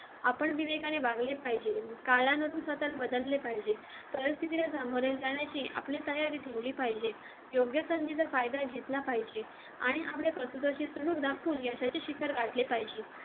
आपण विवेकाने वागले पाहिजे काळानुसार स्वतास बदलले पाहिजे परिस्थितीने सामोरे जाण्याची आपली तयारी ठेवली पाहिजे योग्य संधीचा फायदा घेतला पाहिजे आणि आपल्या